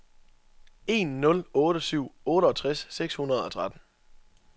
en nul otte syv otteogtres seks hundrede og tretten